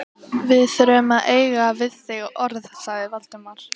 Íhaldið í landinu var andvígt samtökum launafólks.